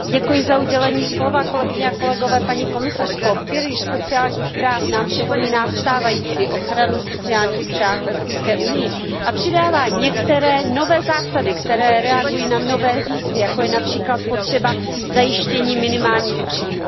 Pane předsedající, paní komisařko, pilíř sociálních práv nám připomíná stávající ochranu sociálních práv v Evropské unii a přidává některé nové zásady, které reagují na nové výzvy, jako je například potřeba zajištění minimálních příjmů.